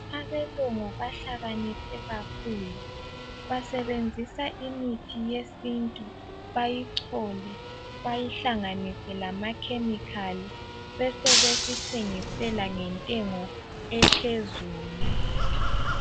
Abelungu bahlaniphe kakhulu basebenzisa imithi yesintu beyichole bayihlanganise lamachemical besebesithengisela ngentengo ephezulu